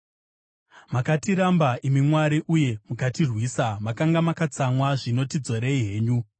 Makatiramba, imi Mwari, uye mukatirwisa; makanga makatsamwa, zvino tidzorei henyu!